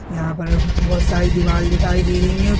यहाँ पर बहुत सारी दीवाल दिखाई दे रही है।